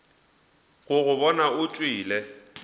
go go bona o tšwele